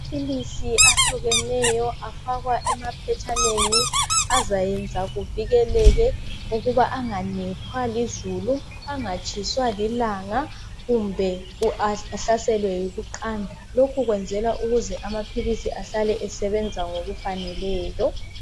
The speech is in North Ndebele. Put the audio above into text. Amaphilisi ahlukeneyo afakwa emaphetshaneni azayenza kuvikeleke ukuba anganethwa lizulu angatshiswa lilanga kumbe ahlaselwe yikuqanda lokhu kwenzelwa ukuze amaphilisi ahlale esebenza ngokufaneleyo